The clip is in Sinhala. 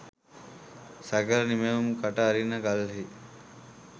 සකල නිමැවුම් කට අරින කල්හි